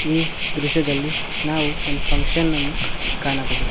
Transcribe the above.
ಈ ದೃಶ್ಯದಲ್ಲಿ ನಾವು ಒಂದು ಫಂಕ್ಷನ್ ಅನ್ನು ಕಾಣಬಹುದು.